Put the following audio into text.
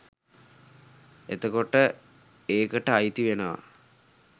එතකොට ඒකට අයිතිවෙනවා